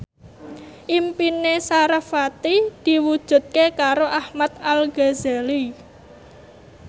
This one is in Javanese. impine sarasvati diwujudke karo Ahmad Al Ghazali